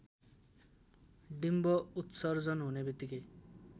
डिम्ब उत्सर्जन हुनेबित्तिकै